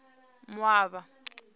moaba